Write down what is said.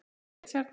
Yðar Richard